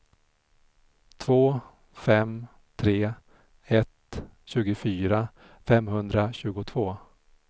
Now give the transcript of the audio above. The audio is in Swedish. två fem tre ett tjugofyra femhundratjugotvå